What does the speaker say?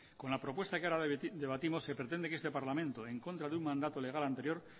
con la propuesta que ahora debatimos se pretende que este parlamento en contra de un mandato legal anterior